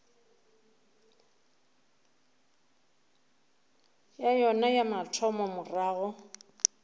ya yona ya mathomo morago